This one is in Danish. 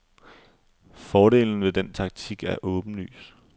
Fordelen ved den taktik er åbenlys.